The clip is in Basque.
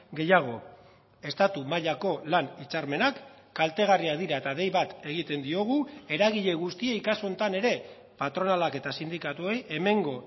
gehiago estatu mailako lan hitzarmenak kaltegarriak dira eta dei bat egiten diogu eragile guztiei kasu honetan ere patronalak eta sindikatuei hemengo